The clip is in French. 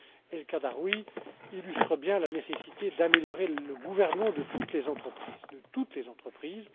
M. El Khadraoui illustre bien la nécessité d'améliorer le gouvernement de toutes les entreprises.